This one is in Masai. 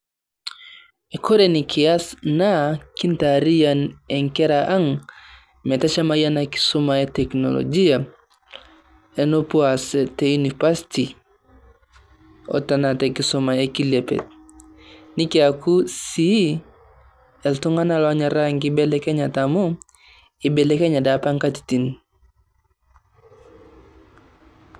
Eikore nikiaas naa kitaaria enkerra ang' metashaama ena nkisoma e teknologia, enepoo aas te univasti o taana te nkisoma e kileepe. Nikiyaaku sii eltung'ana onyoraa kibelekenya amu aibelekenya apaa nkatitin.